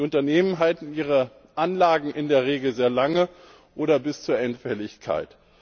Die Unternehmen halten ihre Anlagen in der Regel sehr lange oder bis zur Endfälligkeit.